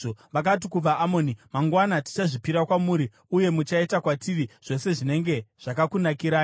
Vakati kuvaAmoni, “Mangwana tichazvipira kwamuri, uye muchaita kwatiri zvose zvinenge zvakakunakirai.”